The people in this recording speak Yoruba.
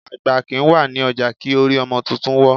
Àgbà kìí wà ní ọjà kí orí ọmọ tuntun wọ́.